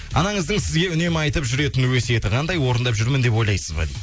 анаңыздың сізге үнемі айтып жүретін өсиеті қандай орындап жүрмін деп ойлайсыз ба